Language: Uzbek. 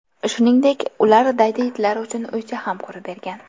Shuningdek, ular daydi itlar uchun uycha ham qurib bergan.